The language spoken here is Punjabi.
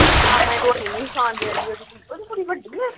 ਮਾਮੇ ਰੋਟੀ ਨਹੀਂ ਖਾਣ ਦੇਣਗੇ। ਓਹੰਦੀ ਕੁੜੀ ਵੱਡੀ ਏ।